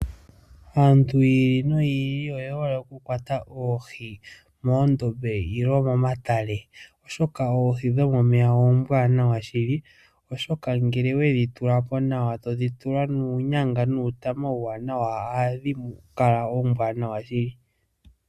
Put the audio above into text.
Aantu yili noyi ili oyehole okukwata oohi moondombe nenge momatale, oshoka oohi dhomomeya ohadhi kala oombwaanawa shili oshoka ngele owedhi tula po, totula mo uunyanga nuutama uuwanawa ohadhi kala oombwaanawa shili.